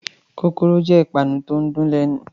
Kókóró jẹ ìpanu ti o n dùn lẹnu.